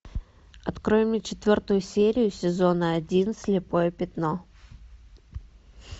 открой мне четвертую серию сезона один слепое пятно